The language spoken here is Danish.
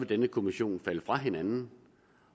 denne kommission falde fra hinanden